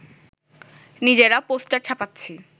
নিজেরা পোস্টার ছাপাচ্ছি